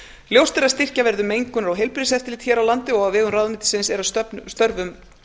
ljóst er að styrkja verður mengunar og heilbrigðiseftirlit hér á landi og á vegum ráðuneytisins er að störfum